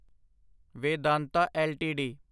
Vedanta LTD